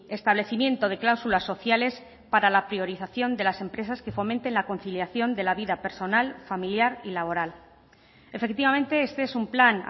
establecimiento de cláusulas sociales para la priorización de las empresas que fomenten la conciliación de la vida personal familiar y laboral efectivamente este es un plan